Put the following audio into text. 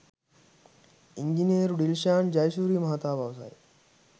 ඉංජිනේරු ඩිල්ෂාන් ජයසූරිය මහතා පවසයි